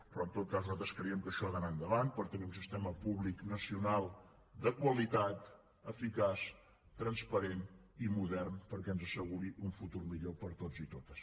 però en tot cas nosaltres creiem que això ha d’anar endavant per tenir un sistema públic nacional de qualitat eficaç transparent i modern perquè ens asseguri un futur millor per a tots i totes